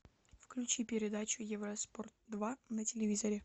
включи передачу евроспорт два на телевизоре